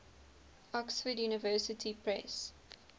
oxford university press